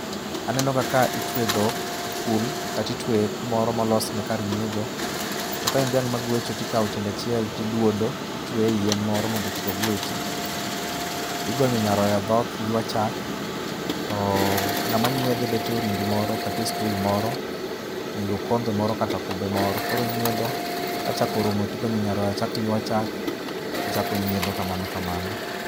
Aneno kaka itwe dhok e kul kata itweye kumoro molosne kar nyiedho. To ka en dhiamng' ma gwecho to ikawo tiende achiel to iduodo. Itueye e yien moro mondo kik ogwechi. Igonyo nyaroya dhoth, ywa chalk, to ng'ama nyiedhe bet e orindi moro kata stool moro gi okombe moro kata kube moro koro onyiedho., ka chak orumo to igonyo nyaroya chako ywayo chak, ochako onyiedho kamano kamano.